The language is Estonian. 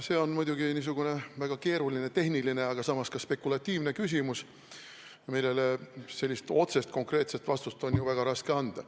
See on muidugi väga keeruline tehniline, aga samas ka spekulatiivne küsimus, millele otsest konkreetset vastust on väga raske anda.